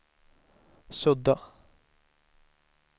sudda